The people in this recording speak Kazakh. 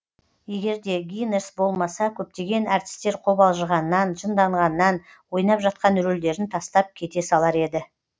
егер де гинерс болмаса көптеген әртістер қобалжығаннан жынданғаннан ойнап жатқан рөлдерін тастап кете салар еді